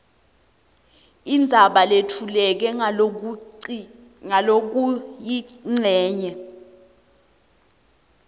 indzaba letfuleke ngalokuyincenye